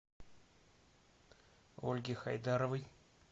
ольге хайдаровой